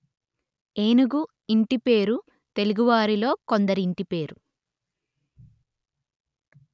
ఏనుగు ఇంటి పేరు తెలుగువారిలో కొందరి ఇంటి పేరు